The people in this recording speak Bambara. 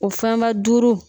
O fɛnba duuru